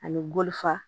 Ani golo fa